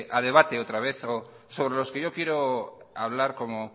a debate otra vez o sobre los que yo quiero hablar como